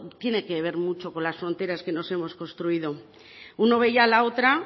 tiene que ver mucho con las fronteras que nos hemos construido uno veía a la otra